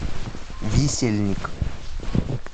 висельник